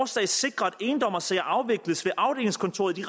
skal sikre at endommersager afvikles ved afdelingskontoret i